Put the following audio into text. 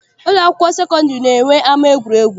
Ụlọ akwụkwọ sekọndịrị na-eme ama egwuregwu.